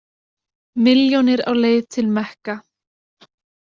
Milljónir á leið til Mekka